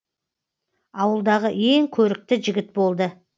ауылдағы ең көрікті жігіт болды